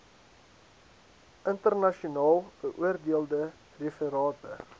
internasionaal beoordeelde referate